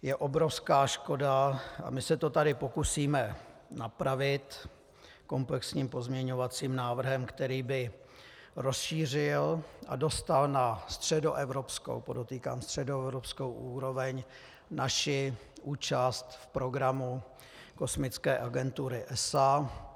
Je obrovská škoda, a my se to tady pokusíme napravit komplexním pozměňovacím návrhem, který by rozšířil a dostal na středoevropskou, podotýkám, středoevropskou úroveň naši účast v programu kosmické agentury ESA.